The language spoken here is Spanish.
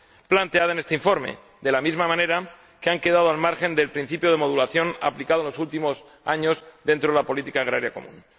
planteada en este informe, de la misma manera que han quedado al margen del principio de modulación aplicado en los últimos años dentro de la política agrícola común.